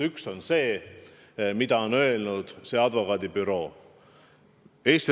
Üks on see, mida on öelnud see advokaadibüroo.